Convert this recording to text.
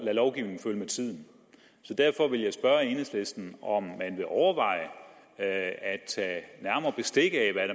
lovgivningen følge med tiden derfor vil jeg spørge enhedslisten om man vil overveje at tage nærmere bestik af hvad